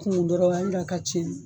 Kunun dɔrɔn a ye nin da ka ci